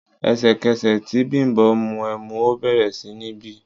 Ẹ̀sẹ̀kẹsẹ̀ tí Bimbo mu ẹmu, ó bẹ̀rẹ̀ sí ní bì.